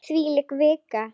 Þvílík vika!